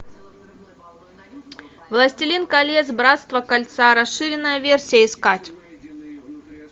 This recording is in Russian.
властелин колец братство кольца расширенная версия искать